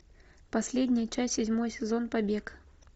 последняя часть седьмой сезон побег